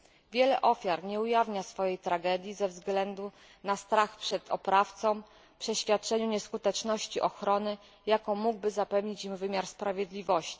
Wiele ofiar nie ujawnia swojej tragedii ze względu na strach przed oprawcą i przeświadczenie o nieskuteczności ochrony, jaką mógłby zapewnić im wymiar sprawiedliwości.